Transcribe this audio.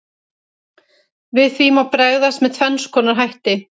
Við því má bregðast með tvenns konar hætti.